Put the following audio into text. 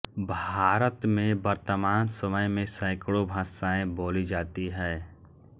भारत में वतर्मान समय में सैकड़ों भाषाएँ बोली जाती है